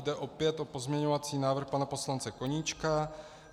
Jde opět o pozměňovací návrh pana poslance Koníčka.